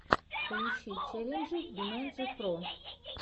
поищи челленджи бимэнджи про